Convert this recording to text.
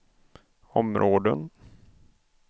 områden